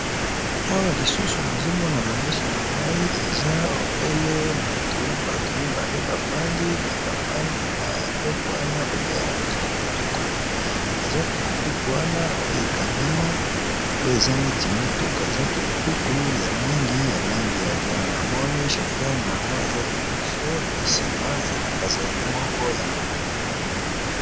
Awa lisusu nazomonana miso na ngai eza ebele motu batu mibale bafandi me bafandi na eleko wana babe yango tukutuku me eza tukutuku wana oyo ekangama oyo eza neti motuka eza tukutuku ya langi ya langi ya jean amoni sofer na yango aza liboso pe nsima aza na pasage moko ya mama.